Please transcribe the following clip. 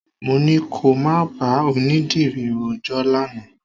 Mo ní kò má bá onídìrí rojọ́ lánàá.